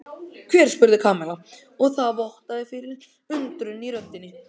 Hver? spurði Kamilla og það vottaði fyrir undrun í röddinni.